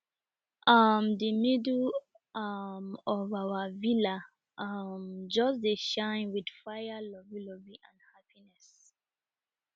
um de middle um of our villa um just dey shine with fire